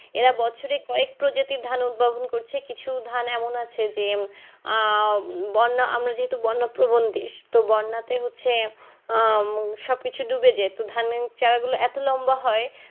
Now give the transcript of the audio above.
এরা বছরে কয়েক প্রজাতির ধান উৎভবন করছে কিছু ধান এমন আছে যে আহ বন্যা আমি যেহেতু বন্যা প্রবন দেশ তো বন্যা তে হচ্ছে আহ সব কিছু ডুবে যাই তো ধানের ছাড়া গুলো এতো লম্বা হয়